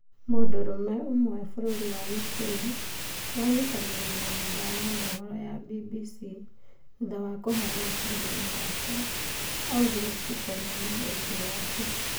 Mũndũrũme ũmwe bũrũrinũ Ukraine aranyitanire na nyumba ya muboro ma BBC thutha wa kubeana karugano gake, augire tutikonanie ũthiu wake.